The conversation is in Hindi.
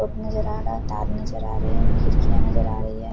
कप नजर आ रहा तार नजर आ रहे है खिड़कियाँ नजर आ रही है।